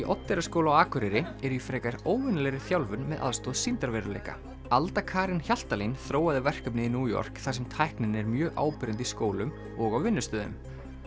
Oddeyrarskóla á Akureyri eru í frekar óvenjulegri þjálfun með aðstoð sýndarveruleika alda Karen Hjaltalín þróaði verkefnið í New York þar sem tæknin er mjög áberandi í skólum og á vinnustöðum